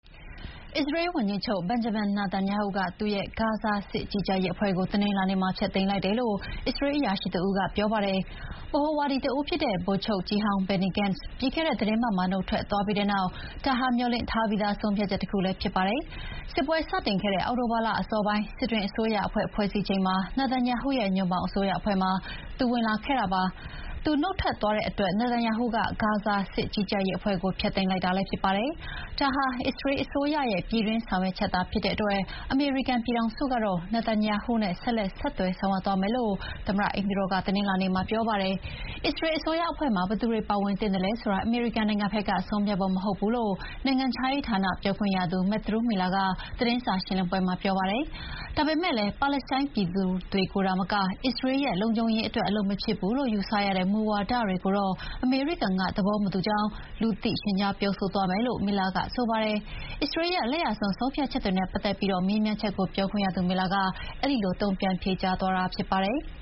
အစ္စရေးဝန်ကြီးချုပ် Benjamin Netanyahu ကသူ့ရဲ့ ဂါဇာ စစ်ကြီးကြပ်ရေးအဖွဲ့ကို တနင်္လာနေ့မှာ ဖျက်သိမ်းလိုက်တယ်လို့ အစ္စရေးအရာရှိတဦးက ပြောပါတယ်။ ဗဟိုဝါဒီတဦးဖြစ်တဲ့ ဗိုလ်ချုပ်ကြီးဟောင်း Benny Gantz ပြီးခဲ့တဲ့သီတင်းပတ်မှာ နုတ်ထွက်သွားပြီးတဲ့နောက် ဒါဟာ မျှော်လင့်ထားပြီးသား ဆုံးဖြတ်ချက်တခုလည်းဖြစ်ပါတယ်။ စစ်ပွဲစတင်ခဲ့တဲ့ အောက်တိုဘာလအစောပိုင်း စစ်တွင်း အစိုးရအဖွဲ့ ဖွဲ့စည်းချိန်မှာ Nethanyahu ရဲ့ ညွန့်ပေါင်းအစိုးရအဖွဲ့မှာ Gentz ဝင်လာခဲ့တာပါ။ Gantz နုတ်ထွက်သွားတဲ့အတွက် Nethanyahu က ဂါဇာစစ်ကြီးကြပ်ရေးအဖွဲ့ကို ဖျက်သိမ်းလိုက်တာလည်းဖြစ်ပါတယ်။ ဒါဟာအစ္စရေးအစိုးရရဲ့ ပြည်တွင်းဆောင်ရွက်ချက်သာဖြစ်တဲ့အတွက် အမေရိကန်ပြည်ထောင်စုကတော့ Netanyahu နဲ့ ဆက်လက်ဆက်သွယ်ဆောင်ရွက်သွားမယ်လို့ သမ္မတအိမ်ဖြူတော်က တနင်္လာနေ့မှာ ပြောပါတယ်။ အစ္စရေးလ်အစိုးရအဖွဲ့မှာ ဘယ်သူတွေပါဝင်သင့်သလဲဆိုတာ အမေရိကန်နိုင်ငံဘက်က ဆုံးဖြတ်ဖို့မဟုတ်ဘူးလို့ နိုင်ငံခြားရေးဌာနပြောခွင့်ရ Matthew Miller ကသတင်းစာရှင်းလင်းပွဲမှာ ပြောပါတယ်။ ဒါပေမယ့်လည်း ပါလက်စတိုင်းပြည်သူတွေကိုသာမက အစ္စရေးလ်ရဲ့လုံခြုံရေးအတွက် အလုပ်မဖြစ်ဘူးလို့ ယူဆရတဲ့မူဝါဒတွေကိုတော့ အမေရိကန်က သဘောမတူကြောင်း လူသိရှင်ကြား ပြောဆိုသွားမယ်လို့ Miller ကဆိုပါတယ်။ အစ္စရေးလ်ရဲ့ လက်ယာစွန်းဆုံးဖြတ်ချက်တွေနဲ့ပတ်သက်ပြီးမေးမြန်းချက်ကို ပြောခွင့်ရသူ Miller က အဲဒီလို တုံ့ပြန်ဖြေကြားသွားတာဖြစ်ပါတယ်။